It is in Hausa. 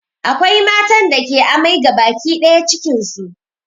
Akwai matan da ke amai gabaki ɗaya cikin su